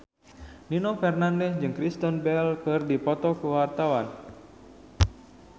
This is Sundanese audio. Nino Fernandez jeung Kristen Bell keur dipoto ku wartawan